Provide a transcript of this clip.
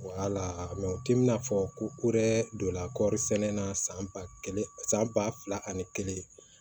u t'i n'a fɔ ko dɛ donna kɔɔri sɛnɛ na san ba kelen san ba fila ani kelen